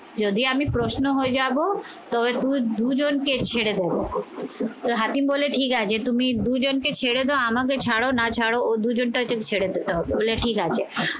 যদি আমি প্রশ্ন হয়ে যাবো তবে দুজনকে ছেড়ে দেবো তো হাকিম বলে ঠিক আছে তুমি দুজনকে ছেড়ে দা আমাকে ছাড়ো না ছাড়ো ও দুজন ছেড়ে দিতে হবে বলে ঠিক আছ